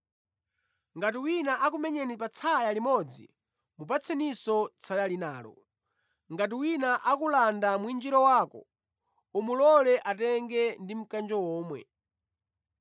Ngati wina akumenyani patsaya limodzi mupatseninso tsaya linalo. Ngati wina akulanda mwinjiro wako, umulole atenge ndi mkanjo omwe.